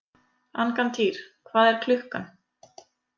Angantýr, hvað er klukkan?